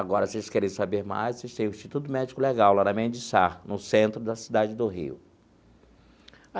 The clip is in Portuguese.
Agora, vocês querem saber mais, vocês têm o Instituto Médico Legal, lá na Mem de Sá no centro da cidade do Rio.